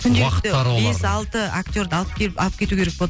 күнделікті бес алты актерды алып келіп алып кету керек болады